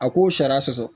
A k'o sariya sɔsɔ